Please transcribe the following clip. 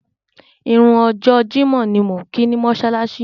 Ìrun ọjọ́ Jímọ̀ ni mò ń kí ni mọ́ṣáláṣí.